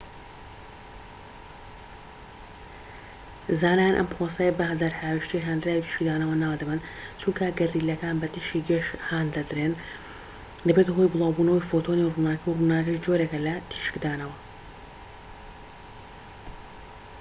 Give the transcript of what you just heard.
زانایان ئەم پرۆسەیە بە دەرهاوێشتەی هاندراوی تیشکدانەوە ناو دەبەن چونکە گەردیلەکان بە تیشکی گەش هان دەدرێن دەبێتە هۆی بڵاوبوونەوەی فۆتۆنی ڕووناکی ڕووناکیش جۆرێک لە تیشکدانەوە